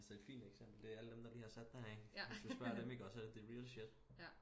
Altså et fint eksempel det er alle dem der lige har sat der i ikke hvis du sprger dem iggå så det the real shit